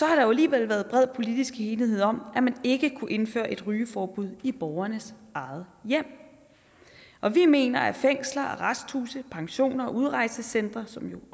har der alligevel været bred politisk enighed om at man ikke kunne indføre et rygeforbud i borgernes eget hjem og vi mener at fængsler arresthuse pensioner og udrejsecentre som jo